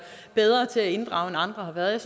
bedre til at inddrage end andre har været